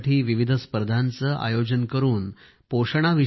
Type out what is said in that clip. मुलांसाठी विविध स्पर्धांचे आयोजन केले जाते